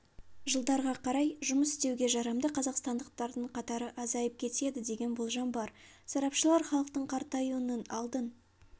жылдарға қарай жұмыс істеуге жарамды қазақстандықтардың қатары азайып кетеді деген болжам бар сарапшылар халықтың қартаюының алдын